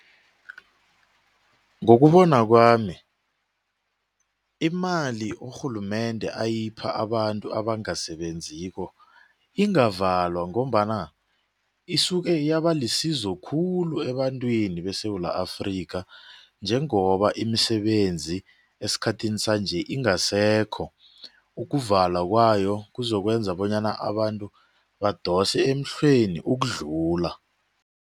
Ngokubona kwami imali urhulumende ayipha abantu abangasebenziko ingavalwa ngombana isuke yaba lisizo khulu ebantwini beSewula Afrika njengoba imisebenzi esikhathini sanje ingasekho, ukuvalwa kwayo kuzokwenza bonyana abantu badose emhlweni ukudlula.